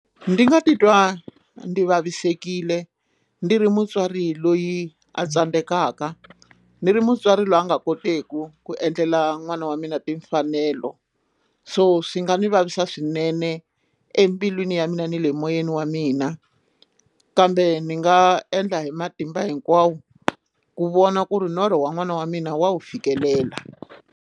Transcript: Ndzi nga titwa ndzi vavisekile ndzi ri mutswari loyi a tsandzekaka ndzi ri mutswari loyi a nga koteki ku endlela n'wana wa mina timfanelo so swi nga ndzi vavisa swinene embilwini ya mina ni le moyeni wa mina kambe ni nga endla hi matimba hinkwawo ku vona ku ri norho wa n'wana wa mina wa wu fikelela.